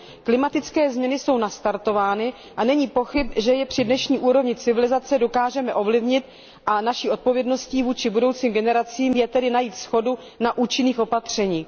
Klimatické změny jsou nastartovány a není pochyb, že je při dnešní úrovni civilizace dokážeme ovlivnit, a naší odpovědností vůči budoucím generacím je tedy najít shodu na účinných opatřeních.